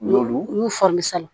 Y'olu fari san